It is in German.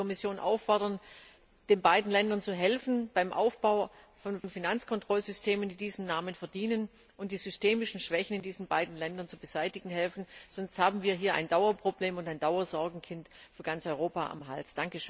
Ich möchte die Kommission auffordern, den beiden Ländern beim Aufbau von Finanzkontrollsystemen, die diesen Namen verdienen, zu helfen und die systemischen Schwächen in diesen beiden Ländern zu beseitigen zu helfen. Sonst haben wir hier ein Dauerproblem und ein Dauersorgenkind für ganz Europa am Hals.